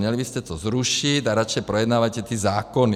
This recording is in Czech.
Měli byste to zrušit a radši projednávejte ty zákony.